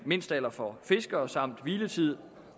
mindstealder for fiskere samt om hviletid